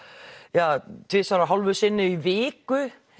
ja tvisvar og hálfu sinni í viku